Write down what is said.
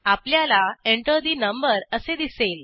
आपल्याला Enter ठे number असे दिसेल